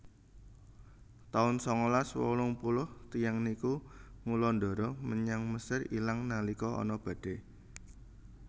taun sangalas wolung puluh tiyang niku ngulandara menyang Mesir ilang nalika ana badai